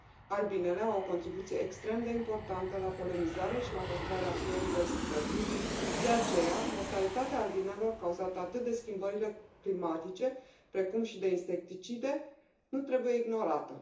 Albinele au o contribuție extrem de importantă la polenizare și la păstrarea biodiversității, de aceea mortalitatea albinelor cauzată atât de schimbările climatice, precum și de insecticide nu trebuie ignorată.